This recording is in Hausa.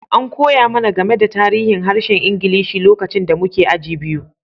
An koya mana game da tarihin harshen Ingilishi lokacin da muke aji biyu.